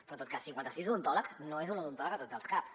però en tot cas cinquanta sis d’odontòlegs no és un odontòleg a tots els caps